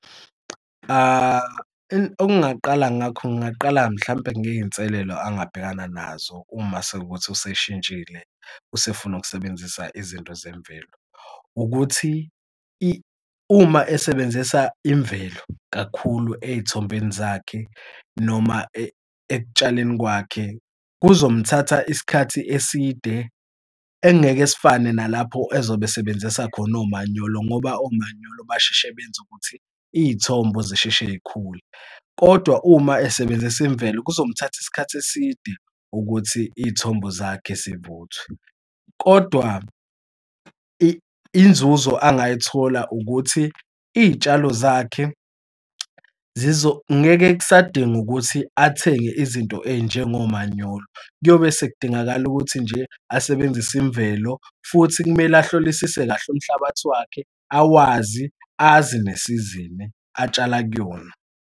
Okungaqala ngakho ngingaqala mhlampe ngey'nselelo angabhekana nazo uma sekuwukuthi useshintshile esefuna ukusebenzisa izinto zemvelo. Ukuthi uma esebenzisa imvelo kakhulu eyithombeni zakhe noma ekutshaleni kwakhe kuzomthatha isikhathi eside engeke sifane nalapho ezobe esebenzisa khona omanyolo ngoba omanyolo basheshe benze ukuthi iy'thombo zisheshe y'khule. Kodwa uma esebenzisa imvelo kuzomthatha isikhathi eside ukuthi iy'thombo zakhe zivuthwe. Kodwa inzuzo angayithola ukuthi iy'tshalo zakhe ngeke kusadinga ukuthi athenge izinto ey'njengomanyolo, kuyobe sekudingakala ukuthi nje asebenzise imvelo futhi kumele ahlolisise kahle umhlabathi wakhe awazi azi nesizini atshala kuyona.